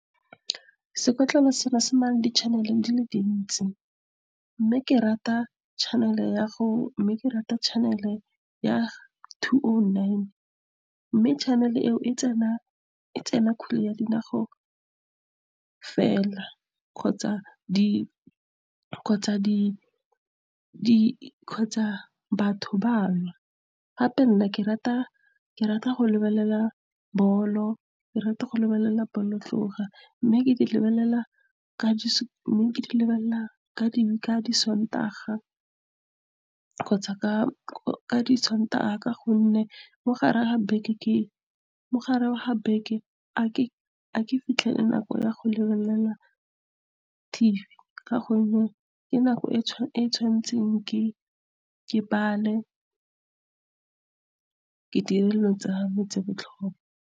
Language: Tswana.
Sekotlolo se nang le di-channel di le dintsi. mme ke rata channel ya two oh nine. Mme channel eo tsena kgwele ya dinao fela kgotsa batho ba nwa. Gape nna ke rata go lebelela bolo, ke rata go lebelela , mme ke di lebelela ka disontaga , ka gonne mo gare ga beke ga ke fitlhelele nako ya go lebelela T_V, ka gonne ke nako e ke tshwanetseng ke bale, ke dire dilo tsame tse di botlhokwa.